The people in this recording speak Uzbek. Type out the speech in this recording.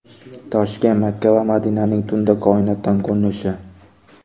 Toshkent, Makka va Madinaning tunda koinotdan ko‘rinishi .